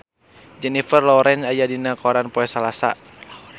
Jennifer Lawrence aya dina koran poe Salasa